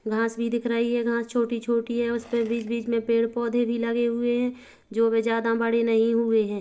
घास भी दिख रही है घास छोटी-छोटी है उसपे बिच-बिच में पेड़-पोधे भी लगे हुए है जो वे ज्यादा बड़े नहीं हुई है।